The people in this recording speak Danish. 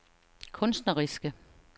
kunstneriske